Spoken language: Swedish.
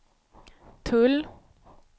tull